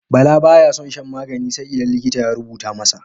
Bala ba ya son shan magani sai idan likita ya rubuta masa.